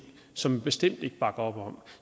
som vi bestemt ikke bakker op om